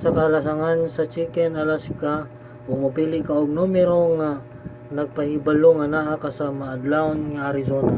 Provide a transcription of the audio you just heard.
sa kalasangan sa chicken alaska ug mopili ka og numero nga nagpahibalo nga naa ka sa maadlawon nga arizona